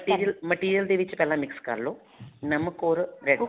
material material ਦੇ ਵਿੱਚ ਇੱਕਲਾ mix ਕਰਲੋ ਨਮਕ or red